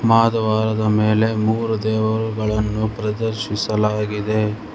ಮಹಾದ್ವಾರದ ಮೇಲೆ ಮೂರು ದೇವರುಗಳನ್ನು ಪ್ರದರ್ಶಿಸಲಾಗಿದೆ.